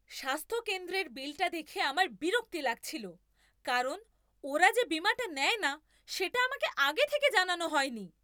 স্বাস্থ্যকেন্দ্রের বিলটা দেখে আমার বিরক্তি লাগছিল কারণ ওরা যে বীমাটা নেয় না সেটা আমাকে আগে থেকে জানানো হয়নি।